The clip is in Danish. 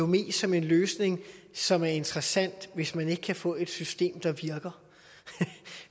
mest som en løsning som er interessant hvis man ikke kan få et system der virker